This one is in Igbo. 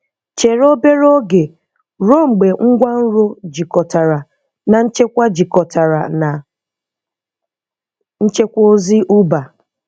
Chere obere oge ruo mgbe ngwanro jikọtara na nchekwa jikọtara na nchekwa ozi Uber